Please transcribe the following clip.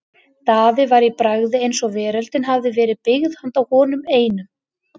Daði var í bragði eins og veröldin hefði verið byggð handa honum einum.